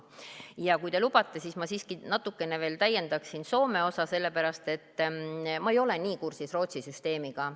Ja kui te lubate, siis ma siiski natuke veel täiendaksin Soome osa, sellepärast et ma ei ole nii kursis Rootsi süsteemiga.